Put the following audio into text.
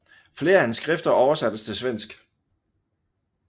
Flere af hans skrifter oversattes til svensk